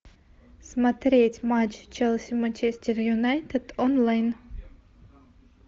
смотреть матч челси манчестер юнайтед онлайн